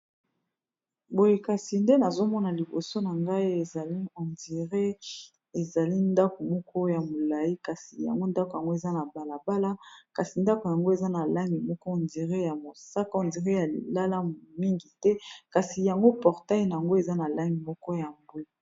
boyekasi nde nazomona liboso na ngai ezali hondiré ezali ndako moko ya molai kasi yango ndako yango eza na balabala kasi ndako yango eza na langue moko ondire ya mosaka ondire ya lilalamu mingi te kasi yango portaina yango eza na lange moko ya mbwi